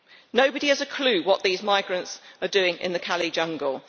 Nobody has a clue what these migrants are doing in the Calais jungle.